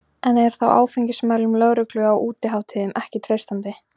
En er þá áfengismælum lögreglu á útihátíðum ekki treystandi?